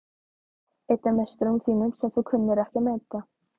Einn af meisturum þínum sem þú kunnir ekki að meta.